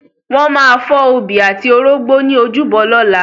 Wọ́n máa fọ́ obì àti orógbó ní ojúbọ lọ́la.